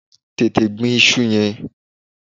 Tètè gbin iṣu yẹn!